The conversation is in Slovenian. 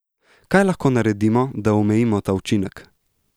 Kaj lahko naredimo, da omejimo ta učinek?